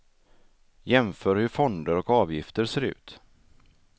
Jämför hur fonder och avgifter ser ut.